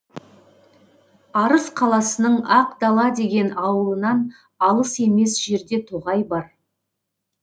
арыс қаласының ақ дала деген ауылынан алыс емес жерде тоғай бар